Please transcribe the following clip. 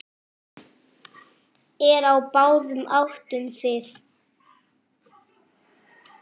Eru á báðum áttum þið.